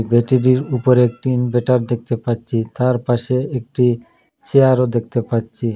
বেদিটির উপরে একটি ইনভার্টার দেখতে পাচ্ছি তার পাশে একটি চেয়ার -ও দেখতে পাচ্ছি।